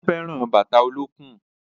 Ó fẹ́ràn bàtà olókùn